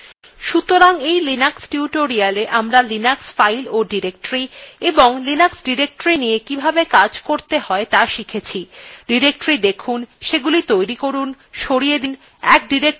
সুতরাং এই linux tutorialwe আমরা linux files ও ডিরেক্টরী এবং linux ডিরেক্টরীর নিয়ে কিভাবে কাজ করতে হয় ত়া শিখেছি ডিরেক্টরী দেখুন সেগুলি তৈরী করুন সরিয়ে দিন এক ডিরেক্টরী থেকে অন্যত়ে যাওয়া ইত্যাদি অভ্যেস করুন